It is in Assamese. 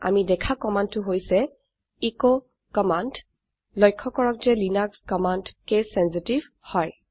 আমি দেখা কম্মান্দ টো হৈছে এচ কম্মান্দ লক্ষ্য কৰক যে লিনাক্স কমান্ড কেচ চেঞ্চিটিভ হয়